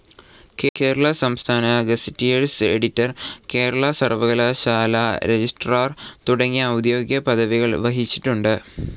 കേരള സംസ്ഥാന gazetteers editor, Kerala സർവ്വകലാശാലാ registrar തുടങ്ങിയ ഔദ്യോഗിക പദവികൾ വഹിച്ചിട്ടുണ്ട്.